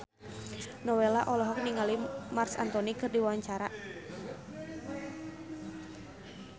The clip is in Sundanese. Nowela olohok ningali Marc Anthony keur diwawancara